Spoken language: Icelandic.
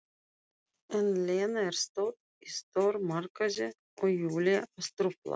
En Lena er stödd í stórmarkaði og Júlía að trufla.